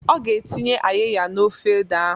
Ọ ga-etinye ayịya n'ofe ede ahụ